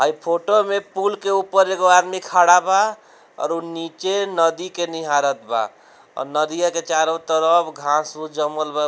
हई फोटो में पुल के ऊपर एगो आदमी खड़ा बा और उ नीचे नदी के निहारत बा और नदिया के चारों तरफ घास-उस जमल बा।